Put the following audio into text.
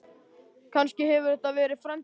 Kannski hefur þetta verið frændi hennar?